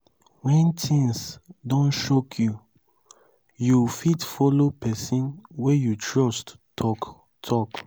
when things don choke you you fit follow person wey you trust talk talk